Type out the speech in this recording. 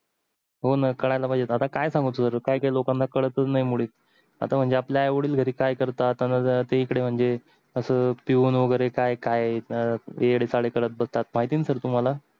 हो न कळायला पाहिजे आता काय सांगू सर काय काय लोकांना कळतच नाही मुले आता म्हणजे आपले आई वडील घरी काय करतात अन जर ते इकडे म्हणजे अस पिऊन वगेरे काय काय एडे चाळे करत बसतात माहिती न सर तुम्हाला